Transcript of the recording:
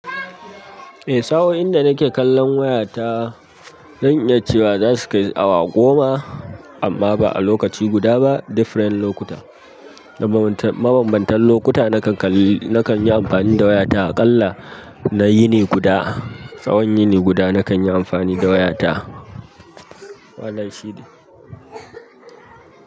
Eh sa'in da nake kallon wayata, zan iya cewa zasu kai awa goma amma ba a lokaci guda ba, different lokuta. Mabambantan lokuta na kan yi amfani da wayata. Aƙalla na yini guda, tsawon yini guda na kan yi amfani da wayata.